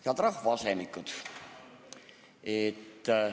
Head rahvaasemikud!